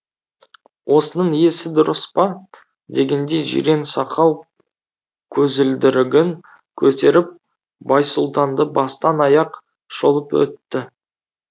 осының есі дұрыс па дегендей жирен сақал көзілдірігін көтеріп байсұлтанды бастан аяқ шолып өтті